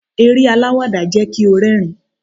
eré alawada jẹ ki o rérìn